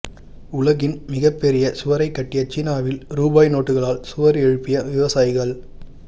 உலகின் மிகப்பெரிய சுவரைக் கட்டிய சீனாவில் ரூபாய் நோட்டுகளால் சுவர் எழுப்பிய விவசாயிகள்